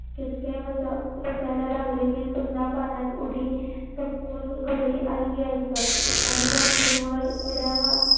चटके बसायला लागले की पुन्हा पाण्यात उडी टाकून घरी आई यायचं आणि भाकरीवर उद्या मा